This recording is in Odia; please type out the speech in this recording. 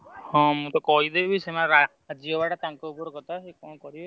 ହଁ ମୁଁ ତ କହିଦେବି ସେମାନେ ରାଜି ହବା ଟା ତାଙ୍କ ଉପର କଥା